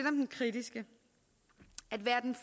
om den kritiske at være den